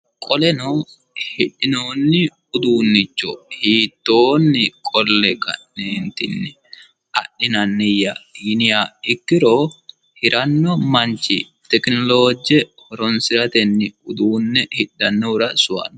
qoleno hidhinoonni uduunnicho hiitttoonni qolle ka'neentinni adhinanniyya yiniha ikkiro hiranno manchi tekinolooje horonsiratenni hidhanno manchira sowaanno.